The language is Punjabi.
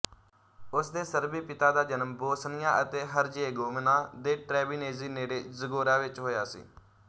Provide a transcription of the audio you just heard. ੳਸਦੇ ਸਰਬੀ ਪਿਤਾ ਦਾ ਜਨਮ ਬੋਸਨੀਆ ਅਤੇ ਹਰਜ਼ੇਗੋਵਿਨਾ ਦੇ ਟ੍ਰੇਬੀਨੇਜੀ ਨੇੜੇ ਜ਼ਗੋਰਾ ਵਿੱਚ ਹੋਇਆ ਸੀ